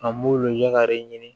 An b'u lujura de ɲini